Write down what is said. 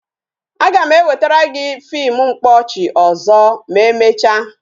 A ga m ewetara gị fim mkpaọchị ọzọ ma emecha